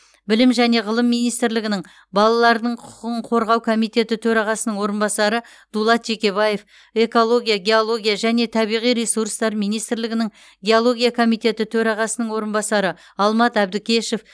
білім және ғылым министрлігінің балалардың құқығын қорғау комитеті төрағасының орынбасары дулат жекебаев экология геология және табиғи ресурстар министрлігінің геология комитеті төрағасының орынбасары алмат әбдікешов